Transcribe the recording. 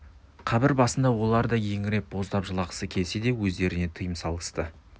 қабір басында олар да еңіреп боздап жылағысы келсе де өздеріне тыйым салысты